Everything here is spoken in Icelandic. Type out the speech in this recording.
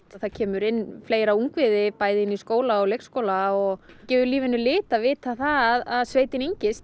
að það kemur inn fleira ungviði bæði inn í skóla og leikskóla og gefur lífinu lit að vita að sveitin